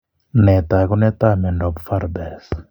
Nee taakunetaab myondap Farber's?